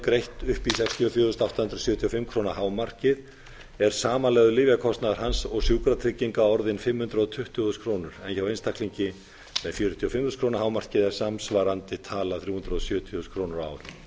greitt upp í sextíu og fjögur þúsund átta hundruð sjötíu og fimm krónur hámarkið er samanlagður lyfjakostnaður hans og sjúkratrygginga orðinn fimm hundruð tuttugu þúsund krónur en hjá einstaklingi með fjörutíu og fimm þúsund krónur hámarkið er samsvarandi tala þrjú hundruð sjötíu þúsund krónur á ári það er